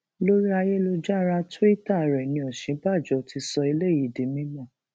lórí ayélujára tuita rẹ ni òsínbàbò ti sọ eléyìí di mímọ